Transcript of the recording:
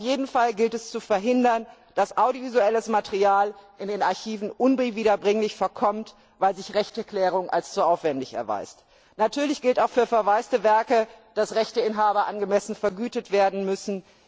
Auf jeden Fall gilt es zu verhindern, dass audiovisuelles Material in den Archiven unwiederbringlich verkommt, weil sich Rechteklärung als zu aufwändig erweist. Natürlich gilt auch für verwaiste Werke, dass Rechteinhaber angemessen vergütet werden müssen.